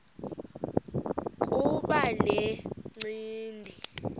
kuba le ncindi